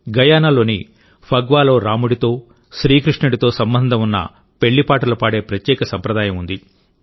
గయానాలోని ఫగ్వాలో రాముడితో శ్రీకృష్ణుడితో సంబంధం ఉన్న పెళ్ళి పాటలు పాడే ప్రత్యేక సంప్రదాయం ఉంది